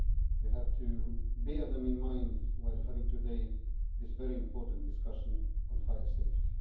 We have to bear them in mind while having today this very important discussion on fire safety.